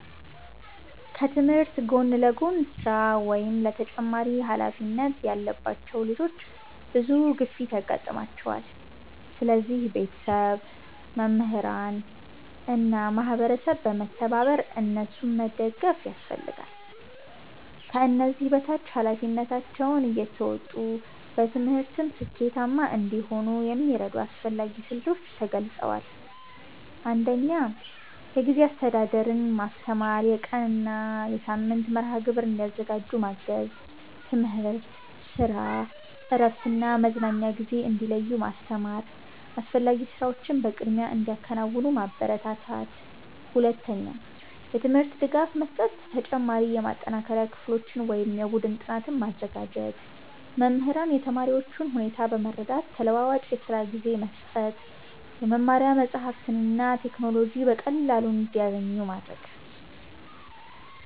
ከትምህርት ጎን ለጎን ስራ ወይም ተጨማሪ ኃላፊነት ያለባቸው ልጆች ብዙ ግፊት ያጋጥማቸዋል። ስለዚህ ቤተሰብ፣ መምህራን እና ማህበረሰብ በመተባበር እነሱን መደገፍ ያስፈልጋል። ከዚህ በታች ኃላፊነታቸውን እየተወጡ በትምህርትም ስኬታማ እንዲሆኑ የሚረዱ አስፈላጊ ስልቶች ተገልጸዋል። 1. የጊዜ አስተዳደር ማስተማር የቀን እና የሳምንት መርሃ ግብር እንዲያዘጋጁ ማገዝ። ትምህርት፣ ስራ፣ እረፍት እና መዝናኛ ጊዜ እንዲለዩ ማስተማር። አስፈላጊ ስራዎችን በቅድሚያ እንዲያከናውኑ ማበረታታት። 2. የትምህርት ድጋፍ መስጠት ተጨማሪ የማጠናከሪያ ክፍሎች ወይም የቡድን ጥናት ማዘጋጀት። መምህራን የተማሪዎቹን ሁኔታ በመረዳት ተለዋዋጭ የስራ ጊዜ መስጠት። የመማሪያ መጻሕፍትና ቴክኖሎጂ በቀላሉ እንዲያገኙ ማድረግ።